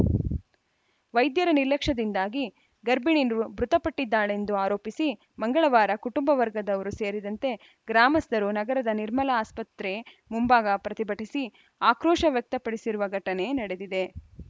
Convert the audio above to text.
ವೈದ್ಯರ ನಿರ್ಲಕ್ಷ್ಯದಿಂದಾಗಿ ಗರ್ಭಿಣಿ ಮೃತಪಟ್ಟಿದ್ದಾಳೆಂದು ಆರೋಪಿಸಿ ಮಂಗಳವಾರ ಕುಟುಂಬ ವರ್ಗದವರು ಸೇರಿದಂತೆ ಗ್ರಾಮಸ್ಥರು ನಗರದ ನಿರ್ಮಲ ಆಸ್ಪತ್ರೆ ಮುಂಭಾಗ ಪ್ರತಿಭಟಿಸಿ ಆಕ್ರೋಶ ವ್ಯಕ್ತಪಡಿಸಿರುವ ಘಟನೆ ನಡೆದಿದೆ